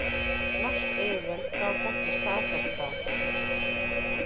Norsk yfirvöld gátu ekki staðfest það